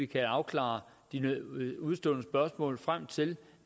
kan afklare de udestående spørgsmål frem til